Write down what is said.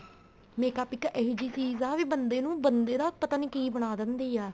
makeup ਇੱਕ ਇਹ ਜੀ ਚੀਜ਼ ਆ ਵੀ ਬੰਦੇ ਨੂੰ ਬੰਦੇ ਦਾ ਪਤਾ ਨਹੀਂ ਕੀ ਬਣਾ ਦਿੰਦੀ ਆ